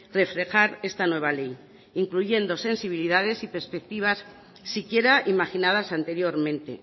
reflejar esta nueva ley incluyendo sensibilidades y perspectivas siquiera imaginadas anteriormente